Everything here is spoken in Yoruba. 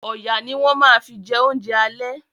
Ọ̀yà ni wọ́n ma fi jẹ oúnjẹ àlẹ́